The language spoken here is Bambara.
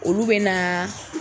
Olu bɛ na.